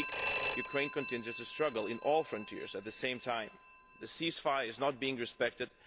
we speak, Ukraine continues to struggle on all fronts at the same time. The ceasefire is not being respected